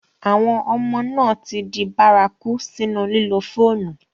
Àwọn ọmà náà ti dì bàràkù sínu lílò fọ̀nù.